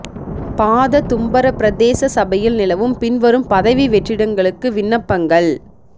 பாத தும்பர பிரதேச சபையில் நிலவும் பின்வரும் பதவி வெற்றிடங்களுக்கு விண்ணப்பங்கள்